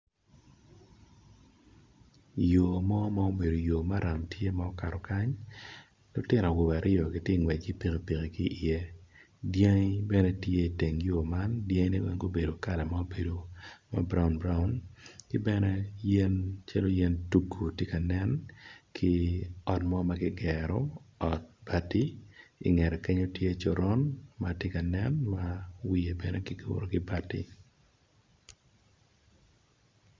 Yo mo ma obedo yo maram tye ma okato kany lutino awobe aryo gitye ngwec ki pikipiki ki iye dyangi bene tye i teng yo man dyangi ne weng gubedo kalama ma brown broun kibene yen calo yen tugu tye ka nen ki ot mo magigero ot bait i ngete kenyo tye coron ma wiye bene kiguro ki bati.